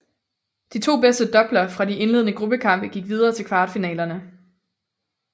De to bedste doubler fra de indledende gruppekampe gik videre til kvartfinalerne